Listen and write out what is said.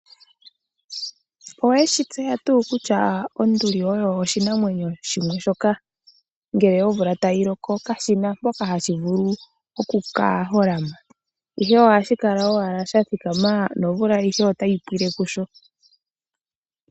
Oweshi tseya tuu kutya onduli oyo oshinamwenyo shimwe shoka ngele omvula tayi loko kashina mpoka hashi vulu okuka holama, ihe ohashi kala owala sha thikama nomvula ayihe otayi pwile kusho.